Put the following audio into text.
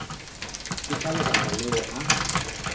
ke ka lebaka leo a